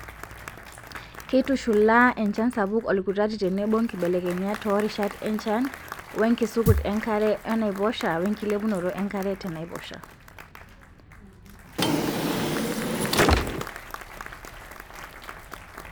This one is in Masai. Keitushulaa enchan sapuk olkutati tenebo nkibelekenyat toorishat enchan wenkisukut enkare oonaiposha wenkilepunoto enkare tenaiposha.